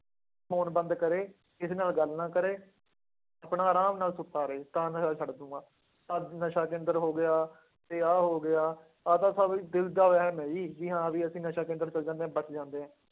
Phone ਬੰਦ ਕਰੇ ਕਿਸੇ ਨਾਲ ਗੱਲ ਨਾ ਕਰੇ, ਆਪਣਾ ਆਰਾਮ ਨਾ ਸੁੱਤਾ ਰਹੇ, ਤਾਂ ਨਸ਼ਾ ਛੱਡ ਦਊਂਗਾ, ਆਹ ਨਸ਼ਾ ਕੇਂਦਰ ਹੋ ਗਿਆ ਤੇ ਆਹ ਹੋ ਗਿਆ, ਆਹ ਤਾਂ ਸਭ ਦਿਲ ਦਾ ਵਹਿਮ ਹੈ ਜੀ, ਜੀ ਹਾਂ ਵੀ ਅਸੀਂ ਨਸ਼ਾ ਕੇਂਦਰ ਚਲੇ ਜਾਂਦੇ ਹਾਂ ਬਚ ਜਾਂਦੇ ਹਾਂ।